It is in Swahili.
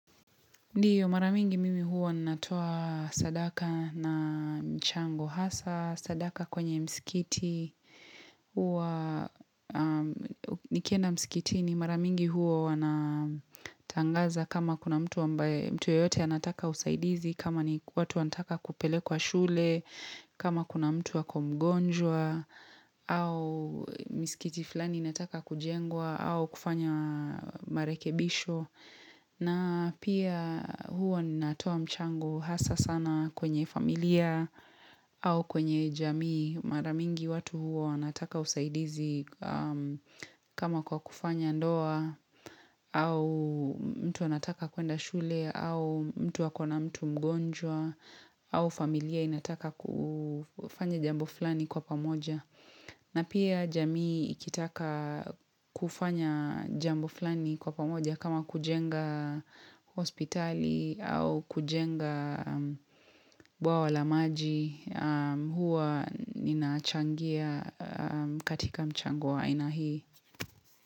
Ndio maramingi mimi hua natoa sadaka na mchango hasa, sadaka kwenye msikiti, hua nikienda msikitini maramingi hua wana tangaza kama kuna mtu ambaye mtu yeyote anataka usaidizi, kama ni watu wanataka kupelekwa shule, kama kuna mtu ako mgonjwa, au msikiti flani inataka kujengwa, au kufanya marekebisho. Na pia hua nnatoa mchango hasa sana kwenye familia au kwenye jamii maramingi watu huwa wanataka usaidizi kama kwa kufanya ndoa au mtu anataka kwenda shule au mtu akona mtu mgonjwa au familia inataka kufanya jambo flani kwa pamoja. Na pia jamii ikitaka kufanya jambo flani kwa pamoja kama kujenga hospitali au kujenga bwawa la maji huwa ninaachangia katika mchango wa aina hii.